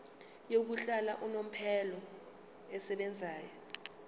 yokuhlala unomphela esebenzayo